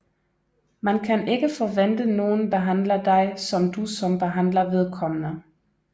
Man kan ikke forvente nogen behandler dig som du som behandler vedkommende